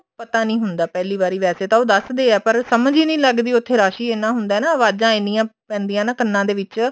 ਪਤਾ ਨੀ ਹੁੰਦਾ ਪਹਿਲੀ ਵਾਰੀ ਵੈਸੇ ਤਾਂ ਉਹ ਦੱਸਦੇ ਆ ਸਮਝ ਹੀ ਨੀ ਲੱਗਦੀ ਉੱਥੇ ਰਸ਼ ਹੀ ਇੰਨਾ ਹੁੰਦਾ ਨਾ ਅਵਾਜਾਂ ਇੰਨੀਆਂ ਪੈਂਦੀਆਂ ਨਾ ਕੰਨਾ ਦੇ ਵਿੱਚ